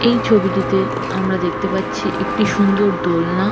এই ছবিতে আমরা দেখতে পাচ্ছি একটি সুন্দর দোলনা--